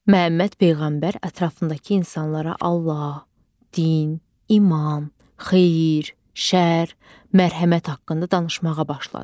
Məhəmməd peyğəmbər ətrafındakı insanlara Allaha, din, iman, xeyir, şərr, mərhəmət haqqında danışmağa başladı.